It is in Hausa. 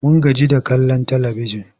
Mun gaji da kallon talibijin.